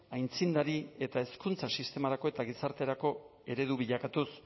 aitzindari eta hezkuntza sistemarako eta gizarterako eredu bilakatuz